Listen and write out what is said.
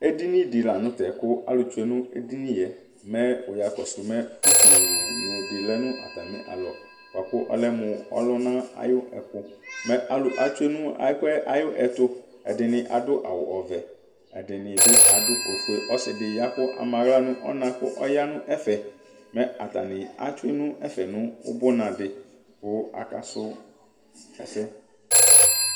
Eɖiniɖi lanʋtɛ kʋ alʋ tsue nʋ eɖiniyɛ mɛ wuya kosumɛ utʋnuɖi lɛ n'atamialɔ buakʋ ɔlɛmʋ ɔlʋna ayɔɛkʋ mɛ alʋ atsue n'ɛkʋyɛtʋ aɖʋ awu ɔvɛƐɖinibi aɖʋ ofue, ɔsiɖinibi kʋ ama aɣla nʋ ɔna kʋ ɔyaa nʋ ɛfɛ mɛ atani etsue nʋ ɛfɛ nʋ ʋbunaɖi kʋ akasu ɛsɛ